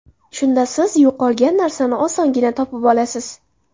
Shunda siz yo‘qolgan narsani osongina topib olasiz.